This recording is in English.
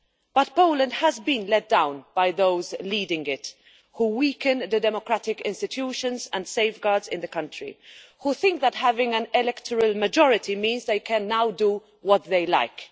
But Poland has been let down by those leading it, who are weakening the democratic institutions and safeguards in the country, and who think that having an electoral majority means they can now do what they like.